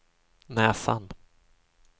näsan